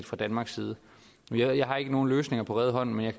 fra danmarks side jeg har ikke nogen løsninger på rede hånd men jeg